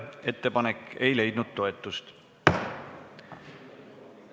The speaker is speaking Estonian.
Ettepanek ei leidnud toetust.